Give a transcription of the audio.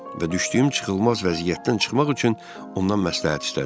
Və düşdüyüm çıxılmaz vəziyyətdən çıxmaq üçün ondan məsləhət istədim.